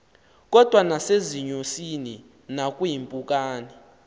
kodwa nasezinyosini nakwiimpukane